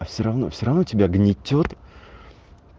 всё-равно всё-равно тебя гнетёт